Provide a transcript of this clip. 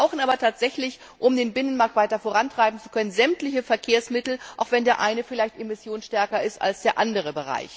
Wir brauchen aber tatsächlich, um den Binnenmarkt weiter vorantreiben zu können, sämtliche Verkehrsmittel, auch wenn der eine Bereich vielleicht emissionsstärker ist als der andere.